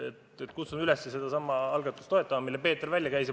Nii et kutsun üles seda algatust toetama, mille Peeter välja käis.